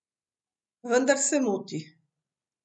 Vendar se moti.